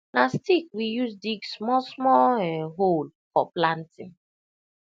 na stick we use dig smallsmall um hole for planting